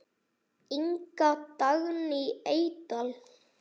Inga Dagný Eydal.